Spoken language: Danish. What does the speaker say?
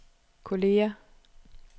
kolleger